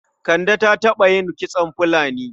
Kande ta taɓa yin kitson fulani.